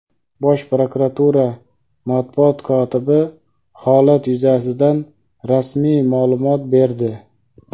Bosh prokuratura Matbuot kotibi holat yuzasidan rasmiy ma’lumot berdi.